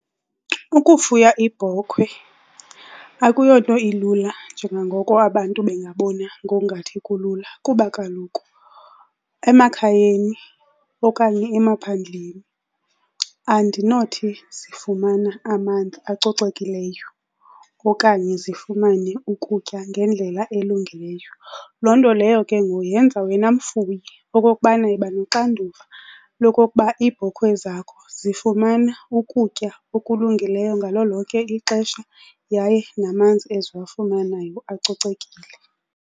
Ukufuya iibhokhwe akuyonto ilula njengangoko abantu bengabona ngongathi kulula kuba kaloku emakhayeni okanye emaphandleni andinothi zifumana amanzi acocekileyo okanye zifumane ukutya ngendlela elungileyo. Loo nto leyo ke ngoku yenza wena mfuyi okokubana yiba noxanduva lokokuba iibhokhwe zakho zifumana ukutya okulungileyo ngalo lonke ixesha yaye namanzi eziwafumanayo acocekile.